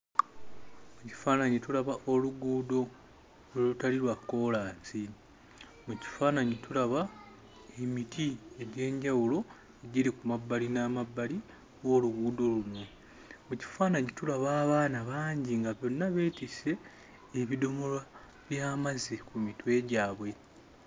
Mu kifaananyi tulaba oluguudo olutali lwa kkoolaasi. Mu kifaananyi tulaba emiti egy'enjawulo egiri ku mabbali n'amabbali g'oluguudo luno. Mu kifaananyi tulaba abaana bangi nga bonna beetisse ebidomola by'amazzi ku mitwe gyabwe.